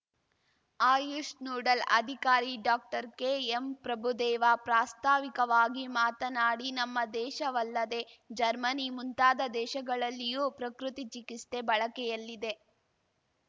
AYUSH noodle ಅಧಿಕಾರಿ ಡಾಕ್ಟರ್ಕೆಎಂಪ್ರಭುದೇವ ಪ್ರಾಸ್ತಾವಿಕವಾಗಿ ಮಾತನಾಡಿ ನಮ್ಮ ದೇಶವಲ್ಲದೇ ಜರ್ಮನಿ ಮುಂತಾದ ದೇಶಗಳಲ್ಲಿಯೂ ಪ್ರಕೃತಿ ಚಿಕಿಸ್ತೆ ಬಳಕೆಯಲ್ಲಿದೆ